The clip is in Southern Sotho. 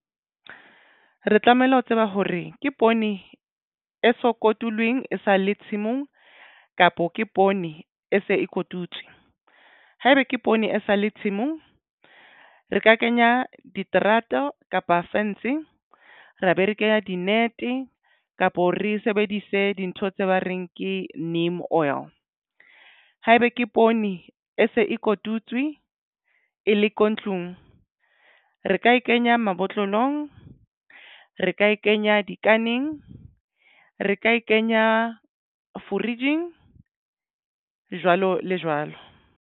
Re tlamehile ho tseba hore ke poone e so kotulweng e sa le tshimong kapo ke poone e se e kotutswe haeba ke poone e sa le tshimong re ka kenya diterato kapo fence e be re kenya di-net kapo re sebedise dintho tse ba reng ke neem oil. Haebe ke poone e se e kotutswe e le ka ntlung re ka e kenya mabotlolo teng re ka e kenya dikaneng re ka e kenya fridge-ing jwalo le jwalo.